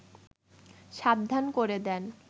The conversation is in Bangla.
সাবধান করে দেন